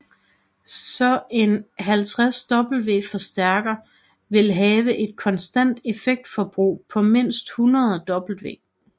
Så en 50 W forstærker vil have et konstant effektforbrug på mindst 100 W